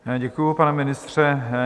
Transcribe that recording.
Děkuji, pane ministře.